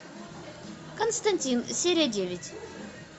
константин серия девять